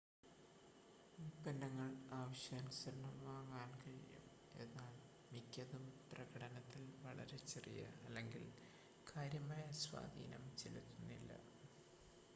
ഉൽപ്പന്നങ്ങൾ ആവശ്യാനുസരണം വാങ്ങാൻ കഴിയും എന്നാൽ മിക്കതും പ്രകടനത്തിൽ വളരെ ചെറിയ അല്ലെങ്കിൽ കാര്യമായ സ്വാധീനം ചെലുത്തുന്നില്ല